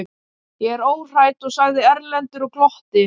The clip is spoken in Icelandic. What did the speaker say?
Ég er óhræddur, sagði Erlendur og glotti.